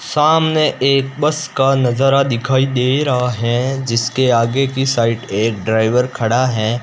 सामने एक बस का नजारा दिखाई दे रहा है जिसके आगे की साइड एक ड्राइवर खड़ा है।